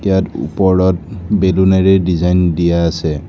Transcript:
ইয়াত ওপৰত বেলুনেৰে ডিজাইন দিয়া আছে।